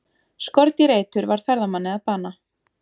Skordýraeitur varð ferðamanni að bana